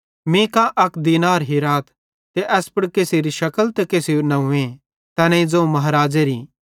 मीं अक दीनार हिराथ ते एस पुड़ केसेरी शकल ते केसेरू नंव्वे तैनेईं ज़ोवं महाराज़ेरी